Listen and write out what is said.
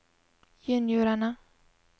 juniorene